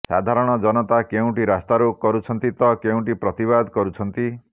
ସାଧାରଣ ଜନତା କେଉଁଠି ରାସ୍ତାରୋକ କରୁଛନ୍ତି ତ କେଉଁଠି ପ୍ରତିବାଦ କରୁଛନ୍ତି